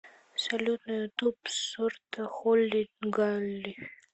салют на ютуб сорта холи галли